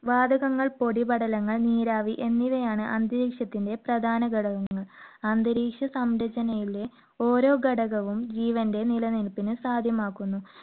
വാതകങ്ങൾ, പൊടിപടലങ്ങൾ, നീരാവി എന്നിവയാണ് അന്തരീക്ഷത്തിന്റെ പ്രധാന ഘടകങ്ങൾ. അന്തരീക്ഷ സംരചനയിലെ ഓരോ ഘടകവും ജീവന്റെ നിലനിൽപ്പിന് സാധ്യമാക്കുന്നു.